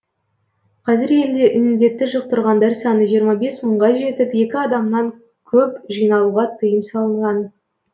қазір елде індетті жұқтырғандар саны жиырма бес мыңға жетіп екі адамнан көп жиналуға тыйым салынған